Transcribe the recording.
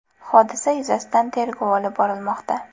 Hodisa yuzasidan tergov olib borilmoqda.